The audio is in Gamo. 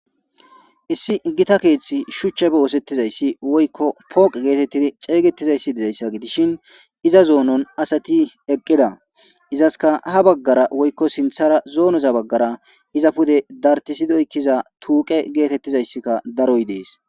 issi gita keeththi shuchche boosettizayssi woykko pooqe geetettidi xeeygettizayssi dizayssa gidishin iza zoonon asati eqqeda izaska ha baggara woykko sinthara zoonoza baggara iza pude dartisidi oykiza tuuqe geetettizayssika daroy dees.